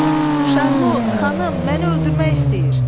Şarlot, xanım, məni öldürmək istəyir!